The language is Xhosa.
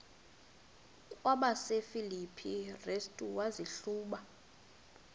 kwabasefilipi restu wazihluba